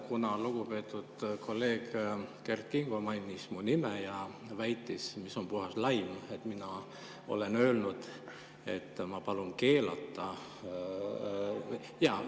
Kuna lugupeetud kolleeg Kert Kingo mainis minu nime ja väitis, mis on puhas laim, et mina olen öelnud, et ma palun keelata ...